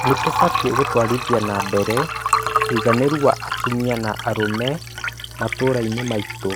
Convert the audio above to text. nĩ tũkũbataraba gũtwarithia na mbere ũigananĩru wa atumia na arume matuura-inĩ maitu.